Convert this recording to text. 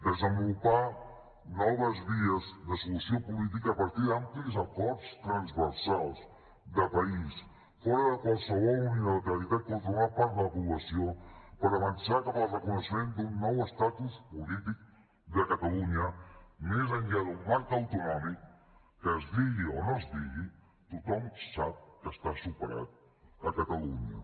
desenvolupar noves vies de solució política a partir d’amplis acords transversals de país fora de qualsevol unilateralitat contra una part de la població per avançar cap al reconeixement d’un nou estatus polític de catalunya més enllà d’un marc autonòmic que es digui o no es digui tothom sap que està superat a catalunya